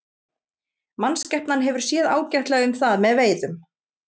Mannskepnan hefur séð ágætlega um það með veiðum.